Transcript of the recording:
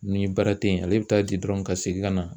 Ni baara te yen ale bi taa di dɔrɔn ka segin ka na